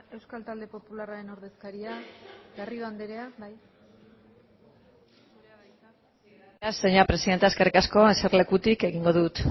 euskal talde popularraren ordezkaria garrido andrea gracias señora presidenta eskerrik asko eserlekutik egingo dut